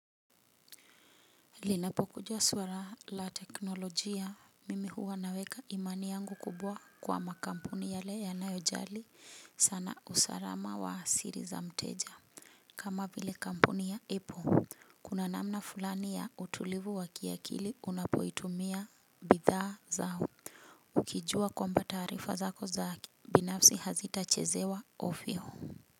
Linapokuja swala la teknolojia mimi huwa naweka imani yangu kubwa kwa makampuni yale yanayojali sana usalama wa siri za mteja kama vile kampuni ya apple kuna namna fulani ya utulivu wa kiakili unapoitumia bidhaa zao ukijua kwamba taarifa zako za binafsi hazitachezewa ofyo.